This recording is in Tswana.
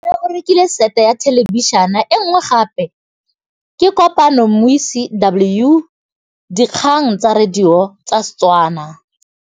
Rre o rekile sete ya thêlêbišênê e nngwe gape. Ke kopane mmuisi w dikgang tsa radio tsa Setswana.